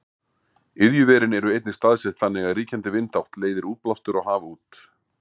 Iðjuverin eru einnig staðsett þannig að ríkjandi vindátt leiðir útblástur á haf út.